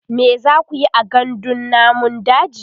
me zakuyi a gandun namun daji?